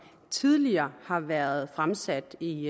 tidligere har været fremsat i